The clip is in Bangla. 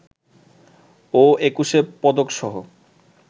ও একুশে পদকসহ